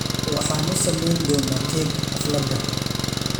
Waxaan u samayn doonaa keeg xaflada.